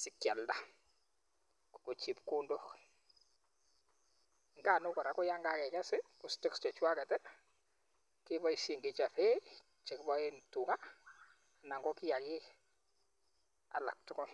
sikialda koko chepkondok nganuk kora yan kakekes ko stalks chechwaket keboisien kechoben 'Hay' chekiboen tuka ana kokiaki alatugul.